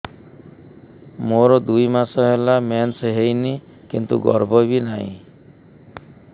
ମୋର ଦୁଇ ମାସ ହେଲା ମେନ୍ସ ହେଇନି କିନ୍ତୁ ଗର୍ଭ ବି ନାହିଁ